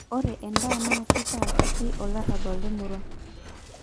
ore endaa naa kitaa kiti olarrabal lemurwa